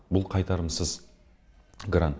ол қайтарымсыз грант